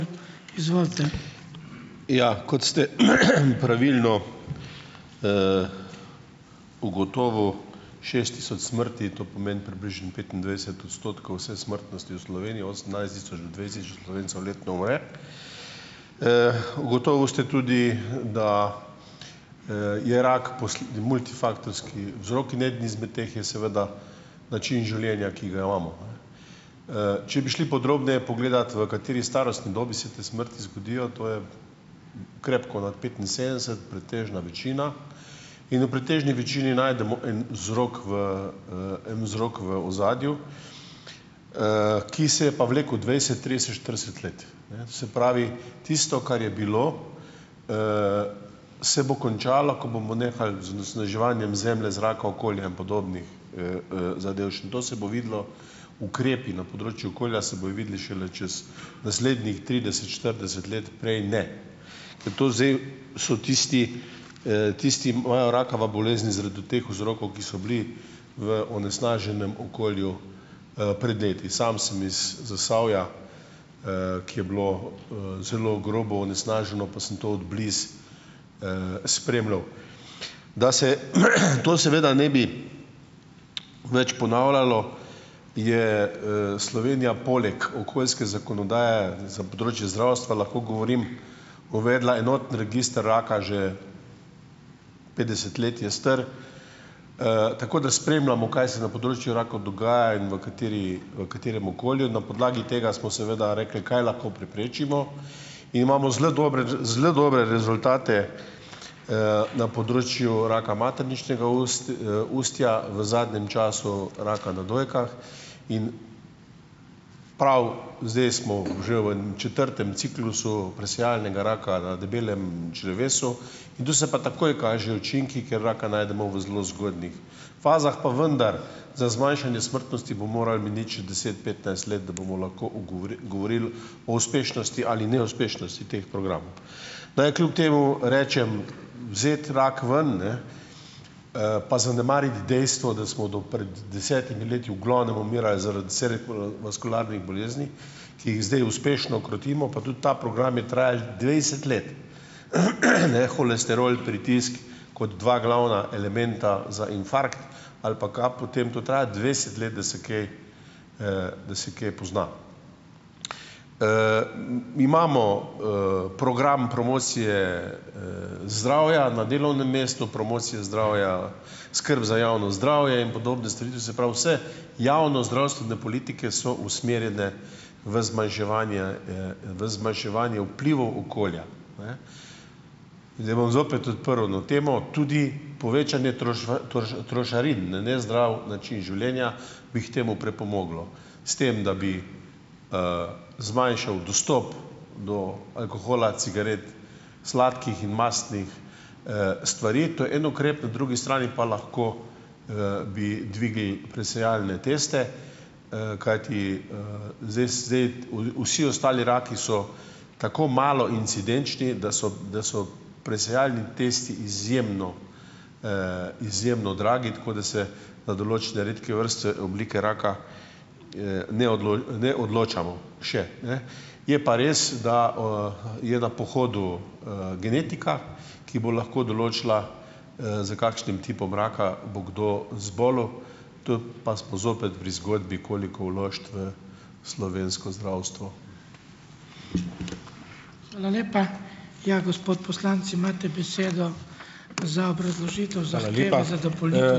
Ja, kot ste pravilno, ugotovil, šest tisoč smrti. To pomeni približno petindvajset odstotkov vse smrtnosti v Sloveniji, osemnajst tisoč, dvajset tisoč Slovencev letno umre. Ugotovil ste tudi, da, je rak multifaktorski vzrok in eden izmed teh je seveda način življenja, ki ga imamo, a ne. Če bi šli podrobneje pogledat, v kateri starostni dobi se te smrti zgodijo, to je krepko nad petinsedemdeset pretežna večina, in v pretežni večini najdemo en vzrok v, en vzrok v ozadju, ki se je pa vlekel dvajset, trideset, štirideset let, ne. Se pravi, tisto, kar je bilo, se bo končalo, ko bomo nehali z onesnaževanjem zemlje, zraka, okolja in podobnih, zadevščin. To se bo videlo - ukrepi na področju okolja se bojo videli šele čez naslednjih trideset, štirideset let, prej ne. Ker to zdaj so tisti, tisti, imajo rakava bolezni zaradi teh vzrokov, ki so bili v onesnaženem okolju, pred leti. Sam sem iz Zasavja, ki je bilo, zelo grobo onesnaženo pa sem to od blizu, spremljal. Da se to seveda ne bi več ponavljalo, je, Slovenija poleg okoljske zakonodaje - za področje zdravstva lahko govorim - uvedla enoten register raka, že petdeset let je star, tako da spremljamo, kaj se na področju rakov dogaja in v kateri, v katerem okolju, in na podlagi tega smo seveda rekli, kaj lahko preprečimo, in imamo zelo dobre, zelo dobre rezultate, na področju raka materničnega ustja, v zadnjem času raka na dojkah in prav zdaj smo že v nam četrtem ciklusu presejalnega raka na debelem črevesu in tu se pa takoj kažejo učinki, ker raka najdemo v zelo zgodnjih fazah. Pa vendar, za zmanjšanje smrtnosti bo moralo miniti še deset, petnajst let, da bomo lahko ugovor, govorili o uspešnosti ali neuspešnosti teh programov. Naj kljub temu rečem, vzeti rak ven, ne, pa zanemariti dejstvo, da smo do pred desetimi leti v glavnem umirali zaradi cerebrovaskularnih bolezni, ki jih zdaj uspešno krotimo pa tudi ta program je trajal dvajset let, ne; holesterol, pritisk, kot dva glavna elementa za infarkt ali pa kap, potem to traja dvajset let, da se kaj, da se kaj pozna. Mi imamo, program promocije, zdravja na delovnem mestu, promocije zdravja, skrb za javno zdravje in podobne stvari, to se pravi vse javno zdravstvene politike so usmerjene v zmanjševanje, v zmanjševanje vplivov okolja. Ne ... Zdaj bom zopet odprl eno temo. Tudi povečanje trošarin na nezdrav način življenja, bi k temu pripomoglo, s tem da bi, zmanjšal dostop do alkohola, cigaret, sladkih in mastnih, stvari, to je en ukrep, na drugi strani pa bi lahko, bi dvignili presejalne teste, kajti, zdaj szej t, v vsi ostali raki so tako malo incidenčni, da so, da so presejalni testi izjemno, izjemno dragi, tako da se na določene redke vrste oblike raka, ne ne odločamo - še. Ne ... Je pa res, da, je na pohodu, genetika, ki bo lahko določila, za kakšnim tipom raka bo kdo zbolel, tu pa smo zopet pri zgodbi koliko vložiti v slovensko zdravstvo.